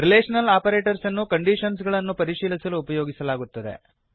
relational ಆಪರೇಟರ್ಸನ್ನು ಕಂಡೀಷನ್ಸಗಳನ್ನು ಪರಿಶೀಲಿಸಲು ಉಪಯೋಗಿಸಲಾಗುತ್ತದೆ